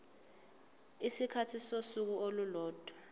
isikhathi sosuku olulodwa